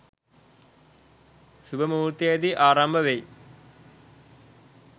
සුබ මුහුර්තයකදී ආරම්භ වෙයි.